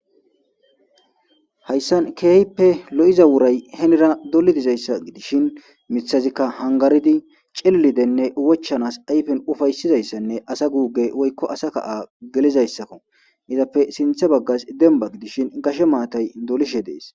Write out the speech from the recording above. hayssan keehippe lo7iza woray henira doli dizayssa gidishin mithazikka hangaridi cellidenne wochanas ayfen ufaysizayssanne asa guuge woykko asa kaa gelizayssakko izappe sinthe baggas demba gidishin gashe maatay dolishe dees